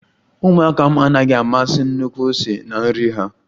Ụmụaka m anaghi amasi nnukwu ose na nri ha